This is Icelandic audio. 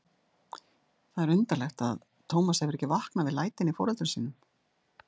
Það er undarlegt að Tómas hefur ekki vaknað við lætin í foreldrum sínum.